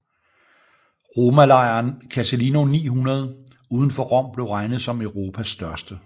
Romalejren Casilino 900 udenfor Rom blev regnet som Europas største